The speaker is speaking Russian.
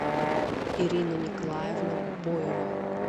ирина николаевна боева